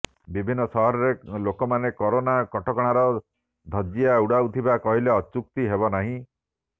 ବିଭିନ୍ନ ସହରରେ ଲୋକମାନେ କରୋନା କଟକଣାର ଧଜିଆ ଉଡାଉଥିବା କହିଲେ ଅତ୍ୟୁକ୍ତି ହେବ ନାହିଁ